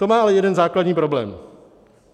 To má ale jeden základní problém.